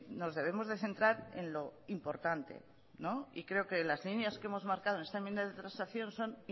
nos debemos de centrar en lo importante y creo que las líneas que hemos marcado en esta enmienda de transacción son